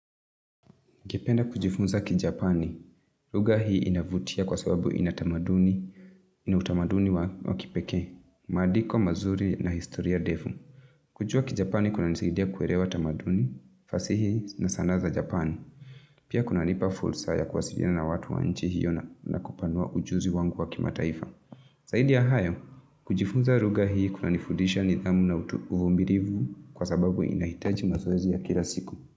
Ningependa kujifunza Kijapani, lugha hii inavutia kwa sababu ina tamaduni, ina utamaduni wa kipekee, maandiko mazuri na historia ndefu. Kujua kijapani kunanisaidia kuelewa tamaduni, fasihi na sanaa za Japani, pia kunanipa fursa ya kuwasiliana na watu wa nchi hiyo na kupanua ujuzi wangu wa kima taifa. Zaidi ya hayo, kujifunza lugha hii kunanifudisha nidhamu na uvimilivu kwa sababu inahitaji mazoezi ya kila siku.